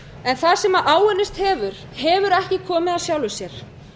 en það sem áunnist hefur hefur ekki komið af sjálfu sér